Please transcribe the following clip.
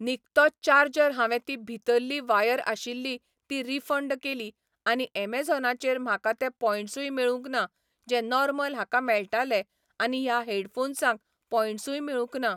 निकतो charger हांवें ती भितरली वायर आशिल्ली ती रिफंड केली आनी एमझोनाचेर म्हाका ते पोंयटसूय मेळूंक ना जे नॉर्मल हाका मेळटाले आनी ह्या हेडफोम्साक पोंयटसूय मेळूंक ना